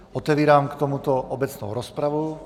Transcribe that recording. Otevírám k tomuto obecnou rozpravu.